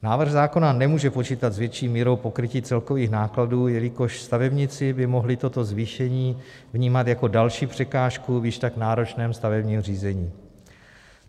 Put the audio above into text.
Návrh zákona nemůže počítat s větší mírou pokrytí celkových nákladů, jelikož stavebníci by mohli toto zvýšení vnímat jako další překážku v již tak náročném stavebním řízení.